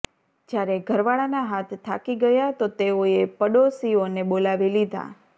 જ્યારે ઘરવાળાના હાથ થાકી ગયા તો તેઓએ પડોસિઓને બોલાવી લીધા